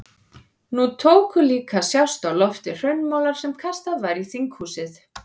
Nú tóku líka að sjást á lofti hraunmolar sem kastað var í þinghúsið.